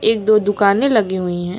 एक दो दुकाने लगी हुई है।